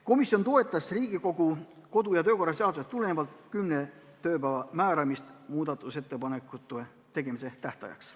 Komisjon toetas Riigikogu kodu- ja töökorra seadusest tulenevalt kümne tööpäeva määramist muudatusettepanekute tähtajaks.